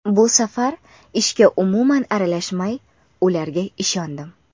Bu safar ishga umuman aralashmay, ularga ishondim.